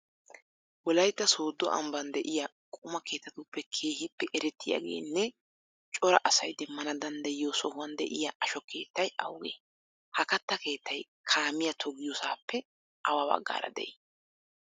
Wolaytta sooddo ambban de'iya quma keettatuppe keehippe erettiyageenne cora asay Demmana danddayiyo sohuwan de'iya asho keettay awugee? Ha katta keettay kaamiya toggiyasaappe awa baggaara de'ii?